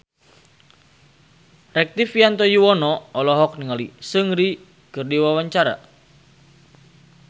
Rektivianto Yoewono olohok ningali Seungri keur diwawancara